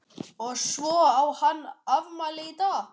Og svo á hann afmæli í dag.